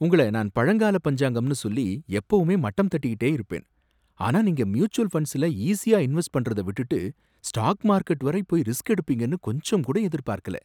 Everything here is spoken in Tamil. உங்கள நான் பழங்கால பஞ்சாங்கம்னு சொல்லி எப்பவுமே மட்டம் தட்டிக்கிட்டே இருப்பேன், ஆனா நீங்க ம்யூச்சுவல் ஃபண்ட்ஸ்ல ஈசியா இன்வெஸ்ட் பண்றத விட்டுட்டு ஸ்டாக் மார்க்கெட் வரை போய் ரிஸ்க் எடுப்பீங்கன்னு கொஞ்சங்கூட எதிர்பார்க்கல